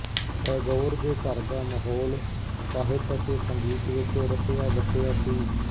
ਟੈਗੋਰ ਦੇ ਘਰ ਦਾ ਮਾਹੌਲ ਸਾਹਿਤ ਅਤੇ ਸੰਗੀਤ ਵਿੱਚ ਰਸਿਆਬਸਿਆ ਸੀ